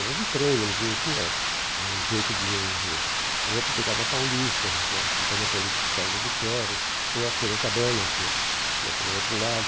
Era de trem, não não tinha jeito de... O outro pegava a Paulista, que era a Companhia Paulista de Estradas de Ferro, ou a Sorocabana, que ia que ia para o outro lado.